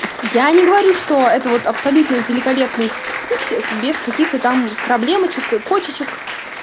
я не говорю что это вот абсолютно великолепный путь без каких-то там проблемочек к кочечек